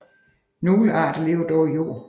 Nogle arter lever dog i jord